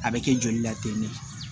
A bɛ kɛ joli la ten de